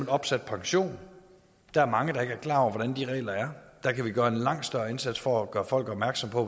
opsat pension der er mange der ikke er klar over hvordan de regler er der kan vi gøre en langt større indsats for at gøre folk opmærksom på